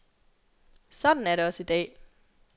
Sådan er det også i dag.